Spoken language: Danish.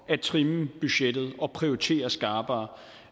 at trimme budgettet og prioritere skarpere